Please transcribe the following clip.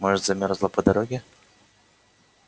может замёрзла по дороге